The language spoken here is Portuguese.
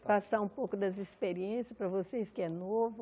Passar um pouco das experiências para vocês que é novo.